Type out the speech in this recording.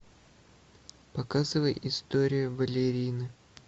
показывай история балерины